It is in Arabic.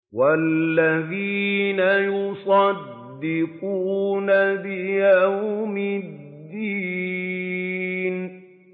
وَالَّذِينَ يُصَدِّقُونَ بِيَوْمِ الدِّينِ